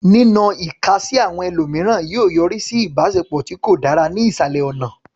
Nínọ ìka sí àwọn ẹlòmíràn yóò yọrí sí ìbáṣepọ̀ tí kò dára ní ìsàlẹ̀ ọ̀nà.